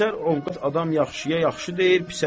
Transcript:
Əksər ovqat adam yaxşıya yaxşı deyir, pisə pis.